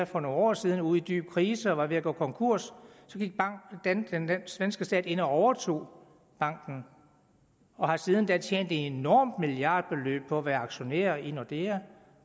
for nogle år siden ude i en dyb krise og var ved at gå konkurs og så gik den svenske stat ind og overtog banken og har siden da tjent et enormt milliardbeløb på at være aktionær i nordea